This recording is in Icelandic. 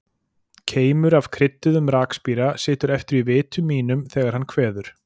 Keimur af krydduðum rakspíra situr eftir í vitum mínum þegar hann kveður.